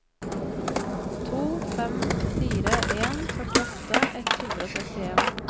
to fem fire en førtiåtte ett hundre og trettien